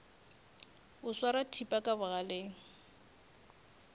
o swara thipa ka bogaleng